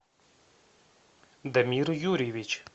дамир юрьевич